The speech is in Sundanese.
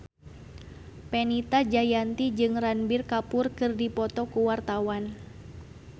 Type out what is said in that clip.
Fenita Jayanti jeung Ranbir Kapoor keur dipoto ku wartawan